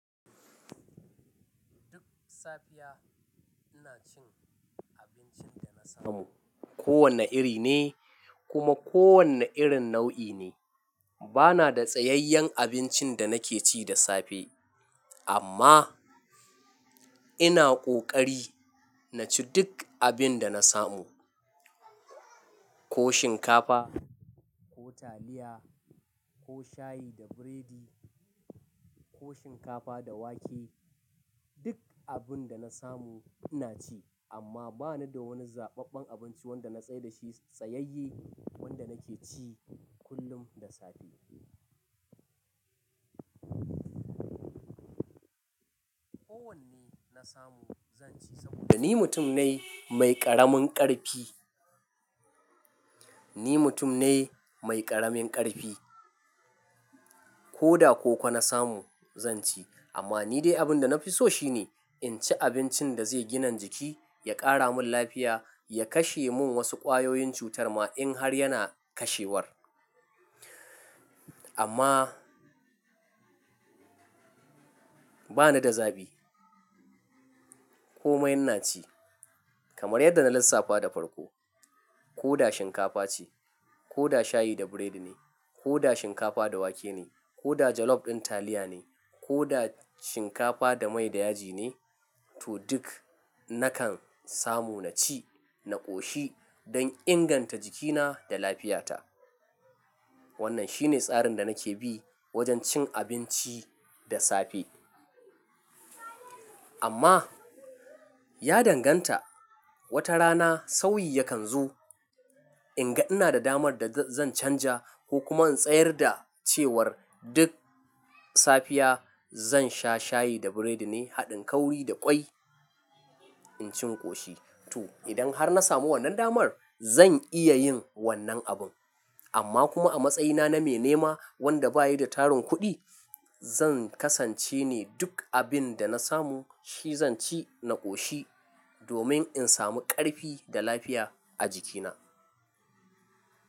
Duk safiya ina cin abincin da na samu. Ko wane iri ne kuma ko wane irin nau'i ne. Ba na da tsayayyen abincin da nake ci da safe amma ina ƙoƙari na ci duk abin da na samu. Ko shinkafa, ko taliya, ko shayi da biredi, ko shinkafa da wake, duk abin da na samu ina ci amma ba ni da wani zaɓaɓɓen abinci wanda na tsai da shi tsayayye wanda nake ci kullum da safe. Ko wanne na samu zan ci saboda ni mutum ne mai ƙaramin ƙarfi. Ni mutum ne mai ƙaramin ƙarfi. Ko da koko na samu zan ci amma ni dai abin da na fi so shi ne in ci abincin da zai gina jiki, ya ƙara mun lafiya, ya kashe mun wasu ƙwayoyin cutar ma in har yana kashewar. Amma bani da zaɓi. Koma ina ci kamar yadda na lissafa da farko. Ko da shinkafa ce, ko da shayi da biredi ne, ko da shinkafa da wake ne, ko da jalof ɗin taliya ne, ko da shinkafa da mai da yaji ne, to duk nakan samu na ci, na ƙoshi don inganta jikina da lafiyata. Wannan shi ne tsarin da nake bi wajen cin abinci da safe. Amma ya danganta, wata rana sauyi yakan zu. In ga ina da damar da zan canja ko kuma in tsayar da cewar duk safiya zan sha shayi da biredi ne haɗin kauri da ƙwai in ci in ƙoshi. To idan har na samu wannan damar zan iya yin wannan abun. Amma kuma a matsayina na mai nema wanda bayi da tarin kuɗi, zan kasance ne duk abin da na samu shi zan ci na ƙoshi domin in samu ƙarfi da lafiya a jikina.